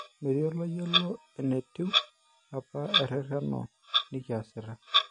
Metii oloyiolo enetiu apa ererena nekiasita